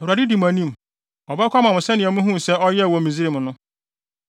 Awurade di mo anim. Ɔbɛko ama mo sɛnea muhuu no sɛ ɔyɛɛ wɔ Misraim no.